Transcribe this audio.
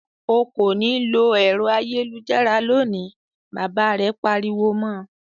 "O kò ní lo ẹ̀rọ ayélujára lónìí!" Bàbá rẹ̀ pariwo mọ.